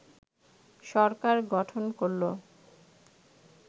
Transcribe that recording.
সরকার গঠন করল